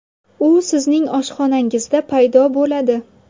U sizning oshxonangizda paydo bo‘ladi.